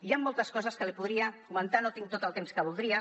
hi han moltes coses que li podria comentar no tinc tot el temps que voldria